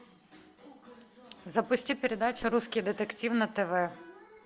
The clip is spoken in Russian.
запусти передачу русский детектив на тв